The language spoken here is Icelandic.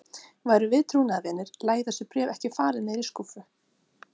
Værum við trúnaðarvinir, lægju þessi bréf ekki falin niðri í skúffu.